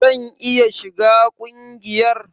Zan iya shiga kungiyar?